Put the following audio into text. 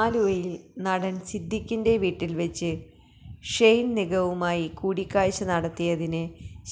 ആലുവയില് നടന് സിദ്ധിഖിന്റെ വീട്ടില് വച്ച് ഷെയ്ന് നിഗവുമായി കൂടിക്കാഴ്ച നടത്തിയതിന്